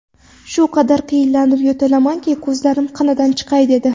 Shu qadar qiynalib yo‘taldimki, ko‘zlarim qinidan chiqay dedi.